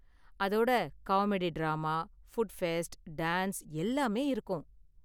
அதோட comedy drama, food fest, dance எல்லாமே இருக்கும்.